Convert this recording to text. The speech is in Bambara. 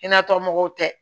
Hinɛ mɔgɔw tɛ